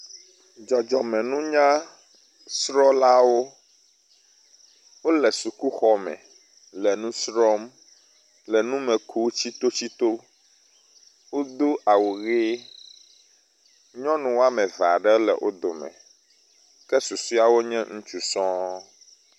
Dzɔdzɔme nunyasrɔ̃lawo. Wo le sukuxɔme le nu srɔ̃m le nume kum tsitotsito. Wodo awu ʋi. Nyɔnu wɔme eve aɖe le wo dome ke susɔewo nye ŋutsu sɔɔ.